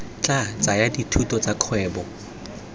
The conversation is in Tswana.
tla tsaya dithuto tsa kgwebo